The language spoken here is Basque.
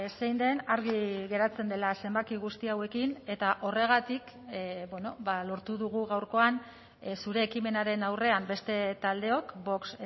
zein den argi geratzen dela zenbaki guzti hauekin eta horregatik lortu dugu gaurkoan zure ekimenaren aurrean beste taldeok vox